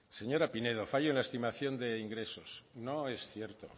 señora pinedo fallo en la estimación de ingresos no es cierto